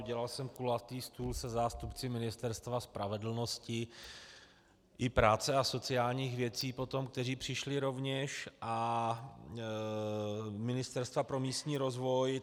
Udělal jsem kulatý stůl se zástupci Ministerstva spravedlnosti i práce a sociálních věcí potom, kteří přišli rovněž, a Ministerstva pro místní rozvoj.